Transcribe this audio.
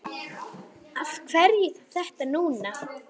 Af hverju þá þetta núna?